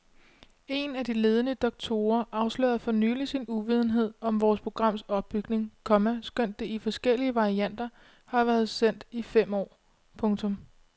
Én af de ledende doktorer afslørede for nylig sin uvidenhed om vores programs opbygning, komma skønt det i forskellige varianter har været sendt i fem år. punktum